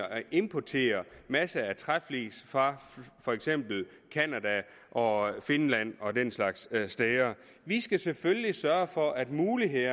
importere masser af træflis fra for eksempel canada og finland og den slags steder vi skal selvfølgelig sørge for at give mulighed